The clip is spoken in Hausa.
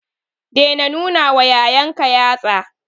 Daina nunawa yayanka yatsa.